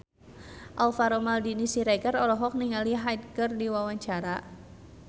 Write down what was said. Alvaro Maldini Siregar olohok ningali Hyde keur diwawancara